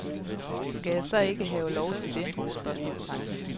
Skal jeg så ikke have lov til det? spørgsmålstegn